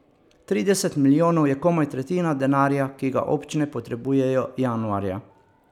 Trideset milijonov je komaj tretjina denarja, ki ga občine potrebujejo januarja.